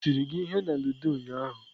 O tiri gi ihe na ludo ụnyaahụ?